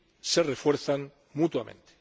se refuerzan mutuamente.